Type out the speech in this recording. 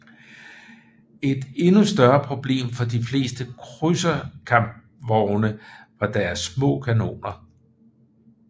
Et endnu større problem for de fleste krydserkampvogne var deres små kanoner